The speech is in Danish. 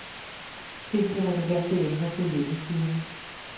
Find de relevante emner på hjemmesiden.